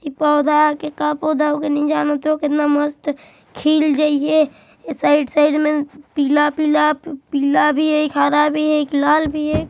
ये पौधा किसका पौधा होगा नहीं जानत हए कितना मस्त खिल जई हैं साइड साइड में पीला पीला पीला भी हैं एक हरा भी हैं लाल भी--